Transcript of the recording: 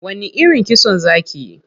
Wani irin kitso za kiyi?